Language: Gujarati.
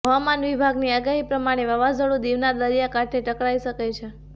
હવામાન વિભાગની આગાહી પ્રમાણે વાવાઝોડું દીવનાં દરિયાકાંઠા પાસે ટકરાઇ શકે છે